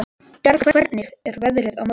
Bjargar, hvernig er veðrið á morgun?